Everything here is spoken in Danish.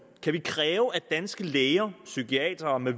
kan vi kræve at danske læger psykiatere med